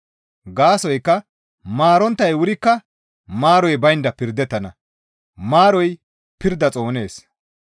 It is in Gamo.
Gaasoykka maaronttay wurikka maaroy baynda pirdettana; maaroy pirda Xoonees.